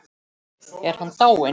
Er hann dáinn?